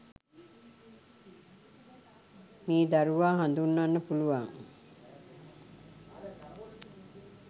මේ දරුවා හඳුන්වන්න පුළුවන්.